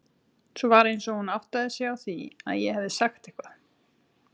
Svo var eins og hún áttaði sig á því að ég hefði sagt eitthvað.